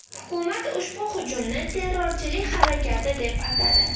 Hukumat ushbu hujumni terrorchilik harakati deb atadi.